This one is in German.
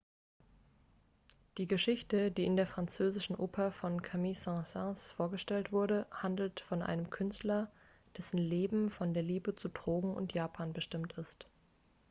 die geschichte die in der französischen oper von camille saint-saens vorgestellte wurde handelt von einem künstler dessen leben von der liebe zu drogen und japan bestimmt ist